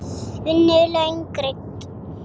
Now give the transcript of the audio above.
Vinnu laun greidd.